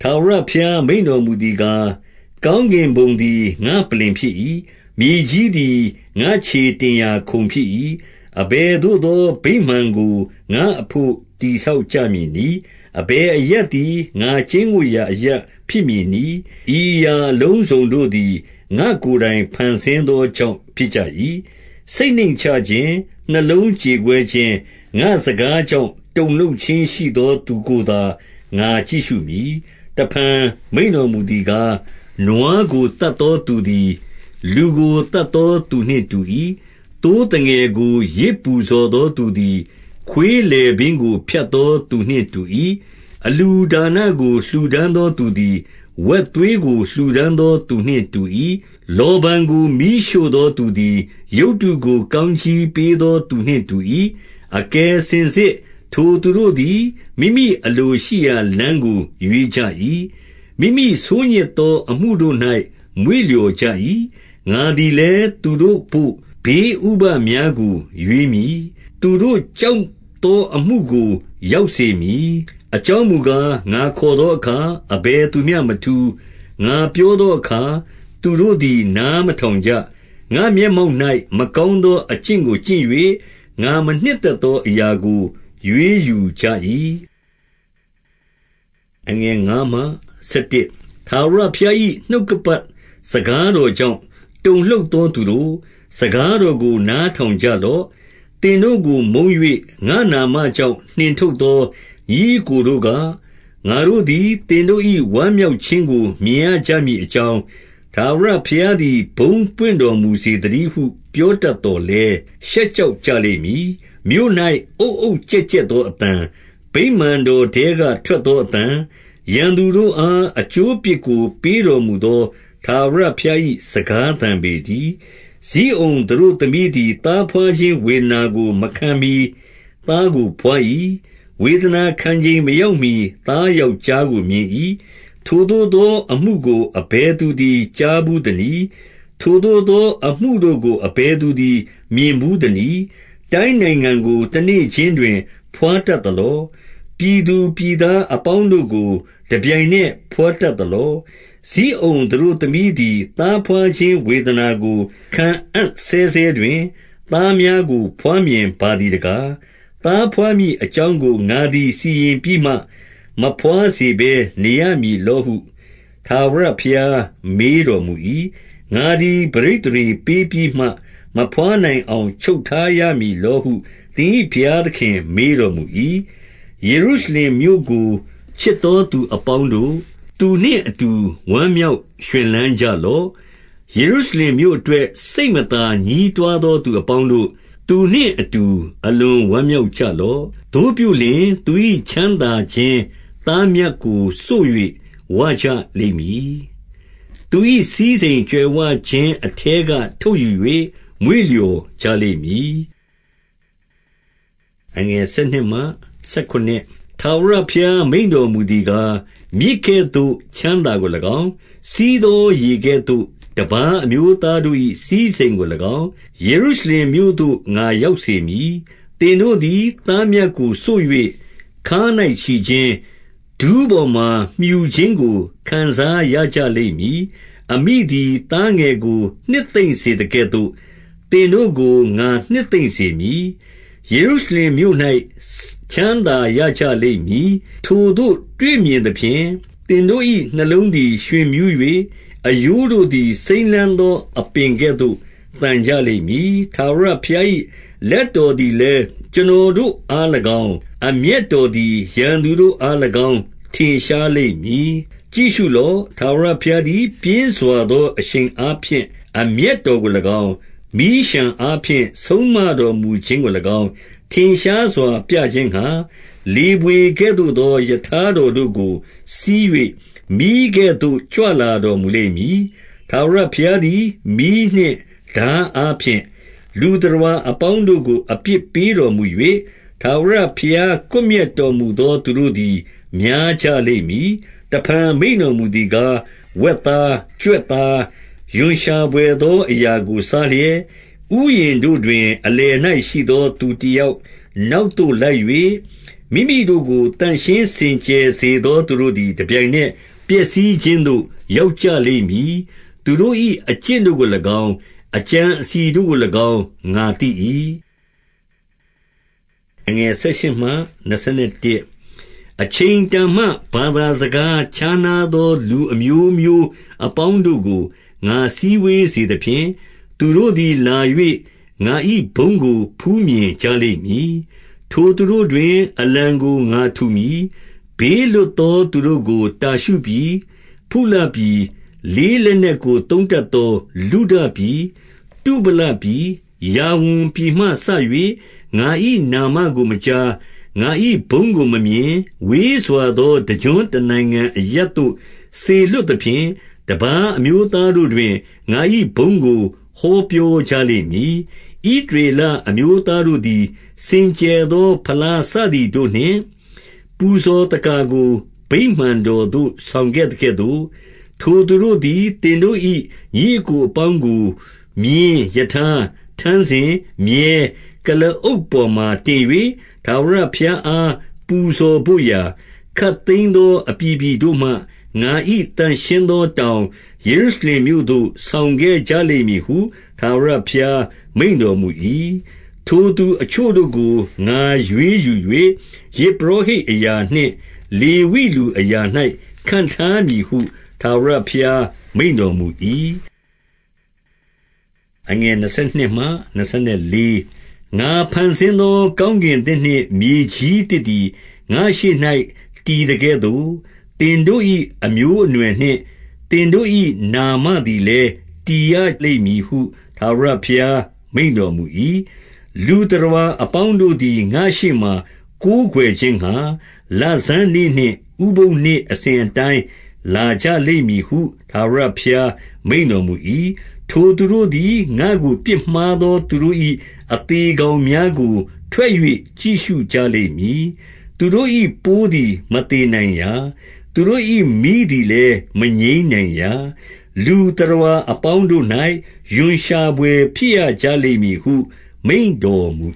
ထာဝရဘုရားမိန့်တော်မူသည်ကား၊ ကောင်းကင်ဘုံသည် ငါ့ပလ္လင်ဖြစ်၏။ မြေကြီးသည် ငါ့ခြေတင် ရာခုံဖြစ်၏။ အဘယ်သို့သော ဗိမာန်ကို ငါ့အဘို့ တည်ဆောက်ကြမည်နည်း။ အဘယ်အရပ်သည် ငါကျိန်းဝပ်ရာ အရပ်ဖြစ်မည်နည်း။ ဤအရာအလုံးစုံတို့သည် ငါ့ကိုယ်တိုင်ဖန်ဆင်းသောကြောင့် ဖြစ်ကြ၏။ စိတ်နှိမ့်ချခြင်း၊ နှလုံးကြေကွဲ ခြင်း၊ ငါ့စကားကြောင့် တုန်လှုပ်ခြင်းရှိသောသူကိုသာ ငါကြည့်ရှုမည်။ တဖန်မိန့်တော်မူသည်ကား၊ နွားကိုသတ်သော သူသည် လူကို သတ်သောသူနှင့်တူ၏။ သိုးသငယ်ကို ယဇ်ပူဇော်သောသူသည် ခွေးလည်ပင်းကိုဖြတ်သော သူနှင့်တူ၏။ အလှူဒါနကို လှူဒါန်းသောသူသည် ဝက်သွေးကို လှူဒါန်းသောသူနှင့်တူ၏။ လောဗန်ကိုမီးရှို့သောသူသည် ရုပ်တုကိုကောင်းကြီးပေးသောသူနှင့်တူ၏။ အကယ်စင် စစ် ထိုသူတို့သည် မိမိအလိုရှိရာ လမ်းကိုရွေးကြ၏။ မိမိဆိုးညစ်သောအမှုတို့၌ မွေ့လျော်ကြ၏။ ငါသည်လည်း၊ သူတို့ဘို့ ဘေးဥပဒ်များကိုရွေးမည်။ သူတို့ကြောက်သောအမှုကို ရောက်စေမည်။ အကြောင်းမူကား၊ ငါခေါ်သောအခါ အဘယ်သူမျှမထူး။ ငါပြောသောအခါ သူတို့သည် နားမထောင်ကြ။ ငါ့ မျက်မှောက်၌ မကောင်းသော အကျင့်ကိုကျင့်၍၊ ငါမနှစ်သက်သောအရာကို ရွေးယူကြ၏။ ထာဝရဘုရား၏ နှုတ်ကပတ်စကားတော်ကြောင့် တုန်လှုပ်သော သူတို့၊ စကားတော်ကို နားထောင် ကြလော့။ သင်တို့ကိုမုန်း၍၊ ငါ့နာမကြောင့်နှင်ထုတ်သော ညီအစ်ကိုတို့က၊ ငါတို့သည်သင်တို့၏ ဝမ်းမြောက်ခြင်းကို မြင်ရမည်အကြောင်း၊ ထာဝရဘုရားသည် ဘုန်းပွင့်တော်မူစေသတည်းဟု ပြောတတ်သော်လည်း၊ ရှက်ကြောက်ကြ လိမ့်မည်။ မြို့၌ အုတ်အုတ်ကျက်ကျက်သောအသံ၊ ဗိမာန်တော်ထဲက ထွက်သောအသံ၊ ရန်သူတို့အား အကျိုး အပြစ်ကို ပေးတော်မူသော ထာဝရဘုရား၏စကားသံ ပေတည်း။ ဇိအုန်သတို့သမီးသည် သားဘွားခြင်းဝေဒနာကို မခံမှီသားကိုဘွား၏။ ဝေဒနာခံချိန်မရောက်မှီ သား ယောက်ျားကိုမြင်၏။ ထိုသို့သောအမှုကို အဘယ်သူသည် ကြားဘူး သနည်း။ ထိုသို့သောအမှုကို အဘယ်သူသည် မြင်ဘူး သနည်း။ တိုင်းနိုင်ငံကို တနေ့ခြင်းတွင် ဘွားတတ်သလော။ ပြည်သူပြည်သားအပေါင်းတို့ကို တပြိုင်နက် ဘွားတတ်သလော။ ဇိအုန်သတို့သမီးသည် သားဘွားခြင်းဝေဒနာကို ခံအံ့ဆဲဆဲတွင်၊ သားများကို ဘွားမြင်ပါသည် တကား။ သားဘွားမည်အကြောင်းကို ငါသည်စီရင်ပြီးမှ၊ မဘွားစေဘဲနေရမည်လောဟု ထာဝရဘုရားမေးတော် မူ၏။ ငါသည် ပဋိသန္ဓေပေးပြီးမှ၊ မဘွားနိုင်အောင် ချုပ်ထားရမည်လောဟု သင်၏ဘုရားသခင်မေးတော် မူ၏။ ယေရုရှလင်မြို့ကို ချစ်သောသူအပေါင်းတို့၊ သူနှင့်အတူ ဝမ်းမြောက်ရွှင်လန်းကြလော့။ ယေရုရှလင် မြို့အတွက် စိတ်မသာညည်းတွားသောသူအပေါင်းတို့၊ သူနှင့်အတူ အလွန်ဝမ်းမြောက်ကြလော့။ သို့ပြုလျှင်၊ သူ၏ချမ်းသာခြင်းသားမြတ်ကိုစို့၍ ဝကြလိမ့်မည်။ သူ၏စည်းစိမ်ကြွယ်ဝခြင်းအထဲက ထုတ်ယူ၍ မွေ့လျော်ကြလိမ့်မည်။ ထာဝရဘုရား မိန့်တော်မူသည်ကား၊ မြစ်ကဲ့သို့ ချမ်းသာကို၎င်း၊ စီးသောရေကဲ့သို့တပါး အမျိုးသားတို့၏ စည်းစိမ်ကို၎င်း ယေရုရှလင်မြို့သို့ ငါရောက်စေမည်။ သင်တို့သည် သားမြတ်ကိုစို့၍ ခါး၌ချီခြင်း၊ ဒူးပေါ်မှာ မြှူခြင်းကို ခံစားရကြလိမ့်မည်။ အမိသည် သားငယ်ကို နှစ်သိမ့်စေသကဲ့သို့၊ သင်တို့ကို ငါနှစ်သိမ့်စေမည်။ ယေရုရှလင်မြို့၌ ချမ်းသာ ရကြလိမ့်မည်။ ထိုသို့ တွေ့မြင်သဖြင့်၊ သင်တို့၏နှလုံးသည် ရွှင်မြူး၍၊ အရိုးတို့ သည်စိမ်းလန်းသော အပင်ကဲ့သို့ သန်ကြလိမ့်မည်။ ထာဝရဘုရား၏ လက်တော်သည်လည်း ကျွန်တော်တို့အား၎င်း၊ အမျက်တော်သည် ရန်သူ တို့အား၎င်း ထင်ရှားလိမ့်မည်။ ကြည့်ရှုလော့။ ထာဝရဘုရားသည် ပြင်းစွာသော အရှိန်အားဖြင့် အမျက်တော်ကို၎င်း၊ မီးလျှံအားဖြင့် ဆုံးမ တော်မူခြင်းကို၎င်း ထင်ရှားစွာ ပြခြင်းငှါ၊ လေဘွေကဲ့သို့သော ရထားတော်တို့ကိုစီး၍၊ မီးကဲ့သို့ ကြွလာတော် မူလိမ့်မည်။ ထာဝရဘုရားသည် မီးနှင့်ထားအားဖြင့်၊ လူသတ္တဝါအပေါင်းတို့ကို အပြစ်ပေးတော်မူ၍၊ ထာဝရ ဘုရားကွပ်မျက်တော်မူသော သူတို့သည် များကြလိမ့်မည်။ တဖန်မိန့်တော်မူသည်ကား၊ ဝက်သား၊ ကြွက် သား၊ ရွံရှာဘွယ်သောအရာကို စားလျက်၊ ဥယျာဉ်တို့တွင် အလယ်၌ရှိသော သူတယောက်နောက်သို့ လိုက်၍၊ မိမိတို့ကို သန့်ရှင်းစင်ကြယ်စေသော သူတို့သည် တပြိုင် နက် ပျက်စီးခြင်းသို့ ရောက်ကြလိမ့်မည်။ သူတို့၏အကျင့် ကို၎င်း အကြံအစည်တို့ကို၎င်း ငါသိ၏။ အချိန်တန်မှ ဘာသာစကားခြားနားသော လူ အမျိုးမျိုးအပေါင်းတို့ကို ငါစည်းဝေးစေသဖြင့်၊ သူတို့သည် လာ၍ ငါ၏ဘုန်းကို ဖူးမြင်ကြလိမ့်မည်။ ထိုသူတို့တွင် အလံကို ငါထူမည်။ ဘေးလွတ် သော သူတို့ကို တာရှုပြည်၊ ဖုလပြည်၊ လေးလက်နက်ကို သုံးတတ်သော လုဒပြည်၊ တုဗလပြည်၊ ယာဝန်ပြည်မှစ၍၊ ငါ၏နာမကိုမကြား၊ ငါ၏ဘုန်းကိုမမြင်၊ ဝေးစွာသော တကျွန်းတနိုင်ငံအရပ်သို့ စေလွှတ်သဖြင့်၊ တပါး အမျိုးသားတို့တွင် ငါ၏ဘုန်းကို ဟောပြောကြလိမ့်မည်။ ဣသရေလအမျိုးသားတို့သည် စင်ကြယ်သော ဖလား စသည်တို့နှင့်၊ ပူဇော်သက္ကာကို ဗိမာန်တော်သို့ ဆောင်ခဲ့သကဲ့သို့၊ ထိုသူတို့သည် သင်တို့၏ ညီအစ်ကို အပေါင်းကို မြင်း၊ ရထား၊ ထမ်းစင်၊ မြည်း၊ ကုလားအုပ် ပေါ်၌တင်၍၊ ထာဝရဘုရားအားပူဇော်ဘို့ရာ၊ ခပ်သိမ်း သောအပြည်ပြည်တို့မှငါ၏ သန့်ရှင်းသောတောင်၊ ယေရု ရှလင်မြို့သို့ဆောင်ခဲ့ကြလိမ့်မည်ဟု ထာဝရဘုရား မိန့်တော်မူ၏။ ထိုသူအချို့တို့ကို ငါရွေးယူ၍၊ ယဇ်ပုရောဟိတ် အရာနှင့် လေဝိလူအရာ၌ခန့်ထားမည်ဟု ထာဝရဘုရား မိန့်တော်မူ၏။ ငါဖန်ဆင်းသော ကောင်းကင်သစ်နှင့် မြေကြီးသစ်သည် ငါ့ရှေ့၌ တည်သကဲ့သို့၊ သင်တို့၏အမျိုးအနွယ် နှင့် သင်တို့၏ နာမသည်လည်း တည်ရလိမ့်မည်ဟု ထာဝရဘုရား မိန့်တော်မူ၏။ လူသတ္တဝါအပေါင်းတို့သည် ငါ့ရှေ့မှာ ကိုးကွယ်ခြင်းငှါ လဆန်းနေ့နှင့်ဥပုသ်နေ့ အစဉ်အတိုင်းလာကြ လိမ့်မည်ဟု ထာဝရဘုရားမိန့်တော်မူ၏။ ထိုသူတို့သည်၊ ငါ့ကိုပြစ်မှားသောသူတို့၏ အသေကောင်များကို ထွက်၍ ကြည့်ရှုကြလိမ့်မည်။ သူတို့၏ ပိုးသည်မသေနိုင်ရာ။ သူတို့၏မီးသည်လည်းမငြိမ်းနိုင်ရာ။ လူသတ္တဝါအပေါင်းတို့၌ ရွံရှာဘွယ်ဖြစ်ရကြ လိမ့်မည်ဟု မိန့်တော်မူ